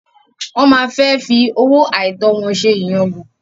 Wọ́n máa fẹ́ fi owó àìtọ́ wọn ṣe ìyangàn.